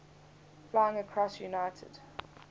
flying cross united